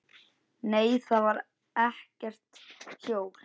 Nei, þar var ekkert hjól.